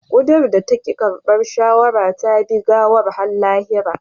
Kuda da ta ki karbar shawara ta bi gawar har lahira